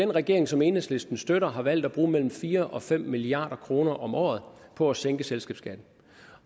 den regering som enhedslisten støtter har valgt at bruge mellem fire og fem milliard kroner om året på at sænke selskabsskatten